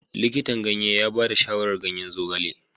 Likitan ganye ya ba da shawarar ganyen zogale.